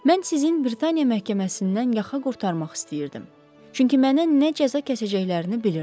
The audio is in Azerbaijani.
Mən sizin Britaniya məhkəməsindən yaxa qurtarmaq istəyirdim, çünki mənə nə cəza kəsəcəklərini bilirdim.